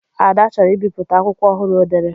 Ada chọrọ ibipụta akwụkwọ ọhụrụ o dere.